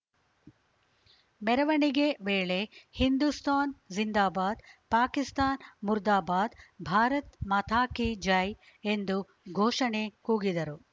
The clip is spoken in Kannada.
ಮೆರವಣಿಗೆ ವೇಳೆ ಹಿಂದುಸ್ತಾನ್‌ ಜಿಂದಾಬಾದ್‌ ಪಾಕಿಸ್ತಾನ್‌ ಮುರ್ದಾಬಾದ್‌ ಭಾರತ್‌ ಮಾತಾ ಕೀ ಜೈ ಎಂದು ಘೋಷಣೆ ಕೂಗಿದರು